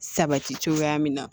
Sabati cogoya min na